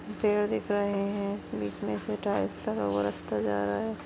पेड़ दिख रहे है। बीच में से टाइल्स का वो रस्ता जा रहा है।